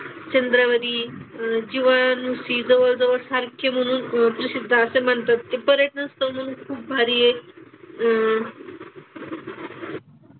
अह चंद्रावरील जीवाणूंशी जवळजवळ सारखे म्हणून अह प्रसिद्ध असे म्हणतात. ते पर्यटनस्थळ म्हणून खूप भारी आहे. अह